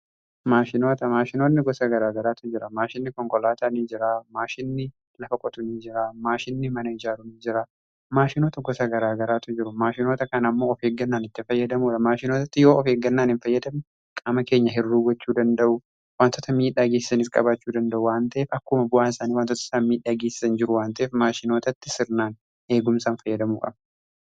Maashinoota, maashinoonni gosa garaagaraatu jira. Maashinni konkolaataan jiraa, maashinni lafa qotu ni jira, maashinni mana ijaaru jira, maashinoota gosa garaagaraatu jiru. Maashinoota kan ammoo of eeggannaan itti fayyadamuudha. Maashinootatti yoo of eeggannaan hin fayyadamu qaama keenya hir'uu gachuu danda'u. Wantoota miidhaa geessaniis qabaachuu danda'u wan ta'eef akkuma bu'aan isaanii wantoota samii dhageessan jiru wanteef maashinootatti sirnaan eegumsaan fayyadamuu qabna.